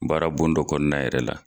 Baara bon dɔ kɔnɔna yɛrɛ la.